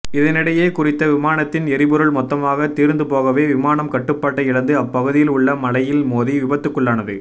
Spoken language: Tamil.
இதனிடையே குறித்த விமானத்தின் எரிபொருள் மொத்தமாக தீர்ந்துபோகவே விமானம் கட்டுப்பாட்டை இழந்து அப்பகுதியில் உள்ள மலையில் மோதி விபத்துக்குள்ளானது